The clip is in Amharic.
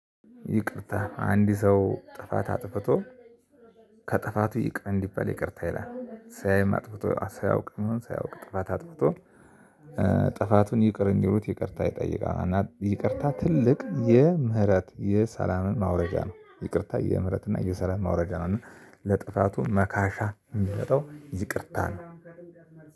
ይቅርታ አንድ ሰው ጥፋት አጥፍቶ ከጥፋቱ ይቅር እንዲበል ይቅርታ ይላል ሳያይ አጥፍቶ ሲያውቅ ሳይሆን ሳያውቅ ጥፋት አጥፍቶ ጥፋቱን ይቅር እንዲሉት ይቅርታ ይጠይቃል። ይቅርታ ትልቅ የምህረት የሰላምን ማውረጃ ነው። ይቅርታ የምህረት እና የሰላም ማውረጃ ነው። እና ለጥፋቱ መካሻ የሚመጣው ይቅርታ ነው።